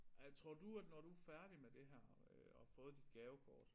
Ej tror du at når du færdig med det her øh og har fået dit gavekort